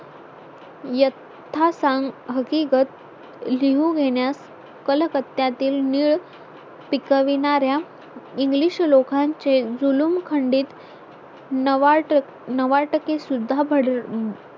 यथा सांग हकिगत लिहून घेण्यात कलकत्यातील नीळ पिकविणार्‍या English लोकांचे जुलूम खंडीत नवा टक्के नवा टक्के सुद्धा